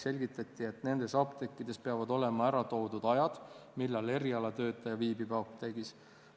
Selgitati, et nendes apteekides peavad olema ära toodud ajad, millal erialatöötaja viibib apteegis.